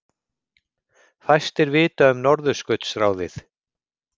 Fæstir vita um Norðurskautsráðið